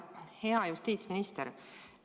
Hea justiitsminister!